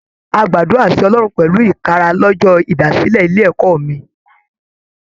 A gbàdúrà sí Ọlọrun pẹlu ikara l'ọjọ ìdásílẹ̀ ilé ẹ̀kọ́ mi.